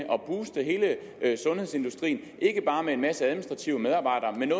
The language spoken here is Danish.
at sundhedsindustrien ikke bare med en masse administrative medarbejdere men